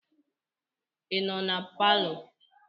Ị nọ na palọ?